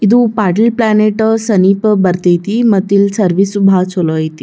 ಇದು ಪ್ಯಾಟಿಲ ಪ್ಲಾನೆಟ್ ಸನೀಪ ಬರತೈತಿ ಮತ್ತ ಇಲ್ಲ ಸರ್ವಿಸು ಭಾಳ ಚೊಲೋ ಅಯ್ತಿ.